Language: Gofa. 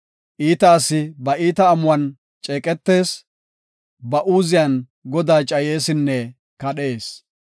Iita asi ba iita amuwan ceeqetees; ba uuziyan Godaa cayeesinne kadhees.